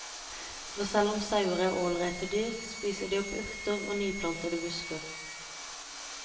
For selv om sauer er ålreite dyr, spiser de opp urter og nyplantede busker.